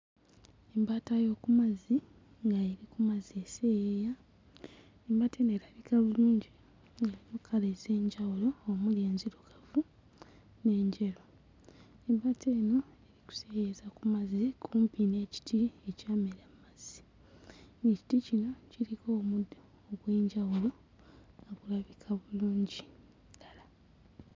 Embaata y'oku mazzi ng'eri ku mazzi eseeyeeya. Embaata eno erabika bulungi nnyo mu kkala ez'enjawulo omuli enzirugavu n'enjeru. Ebbaata eno eri kuseeyeeyeza ku mazzi kumpi n'ekiti ekyamera ku mazzi. Ekiti kino kiriko omuddo ogw'enjawulo nga gulabika bulungi ddala.